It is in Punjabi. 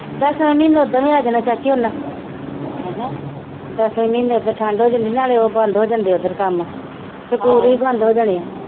ਦਸਵੇਂ ਮਹੀਨੇ ਉਹਦਾ ਵੀ ਆ ਜਾਣਾ ਚਾਚੀ ਉਹਨਾਂ ਦਸਵੇਂ ਮਹੀਨੇ ਓਧਰ ਠੰਡ ਹੋ ਜਾਂਦੀ ਨਾਲੇ ਉਹ ਬੰਦ ਹੀ ਜਾਂਦੇ ਓਦਰ ਕੰਮ ਸਕੂਲ ਵੀ ਬੰਦ ਹੋ ਜਾਣੇ ਆ।